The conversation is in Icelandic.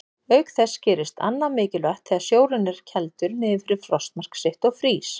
Auk þess gerist annað mikilvægt þegar sjórinn er kældur niður fyrir frostmark sitt og frýs.